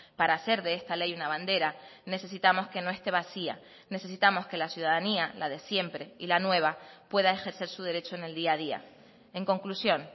para hacer de esta ley una bandera necesitamos que no esté vacía necesitamos que la ciudadanía la de siempre y la nueva pueda ejercer su derecho en el día a día en conclusión